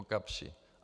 O Kapschi.